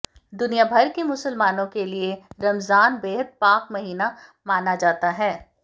दुनिया भर के मुसलमानों के लिए रमज़ान बेहद पाक महीना माना जाता है